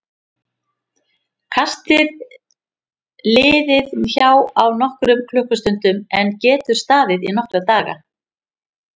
Kastið liður hjá á nokkrum klukkustundum en getur staðið í nokkra daga.